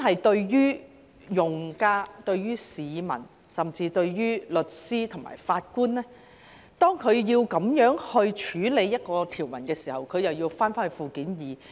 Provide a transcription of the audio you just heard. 當用家、市民甚至律師及法官要引用這項條文時，便要返回附件二。